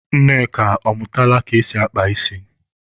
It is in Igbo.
Nneka, ọ mụtala ka esi akpa ísí?